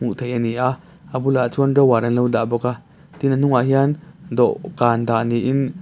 hmuh theih a ni a a bulah chuan drawer anlo dah bawk a tin a hnungah hian dawhkan dah niin--